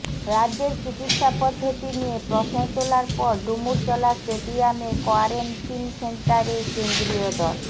রাজ্যের চিকিৎসা পদ্ধতি নিয়ে প্রশ্ন তোলার পর ডুমুরজলা স্টেডিয়ামের কোয়ারেন্টিন সেন্টারে কেন্দ্রীয় দল